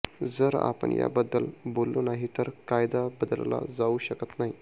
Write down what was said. जर आपण याबद्दल बोललो नाही तर कायदा बदलला जाऊ शकत नाही